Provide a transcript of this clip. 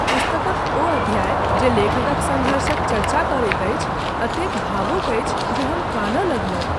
पुस्तकक ओ अध्याय जे लेखकक संघर्षक चर्चा करैत अछि, एतेक भावुक अछि जे हम कानय लगलहुँ।